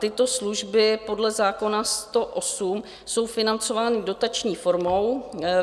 Tyto služby podle zákona 108 jsou financovány dotační formou.